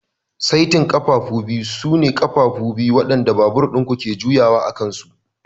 Saitin ƙafafunku sune ƙafafu biyu waɗanda babur ɗin ku ke juyawa a kansu.